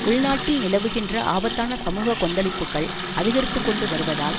உள்நாட்டில் நிலவுகின்ற ஆபத்தான சமூக கொந்தளிப்புக்கள் அதிகரித்து கொண்டு வருவதால்